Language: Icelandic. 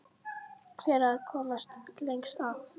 Hver er að komast lengst að?